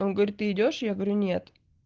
он говорит ты идёшь я говорю нет